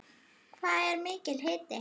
Hvað er mikill hiti?